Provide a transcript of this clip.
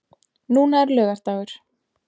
Núna er laugardagur.